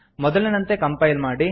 ಮೊದಲಿನಂತೆ ಕಂಪೈಲ್ ಮಾಡಿ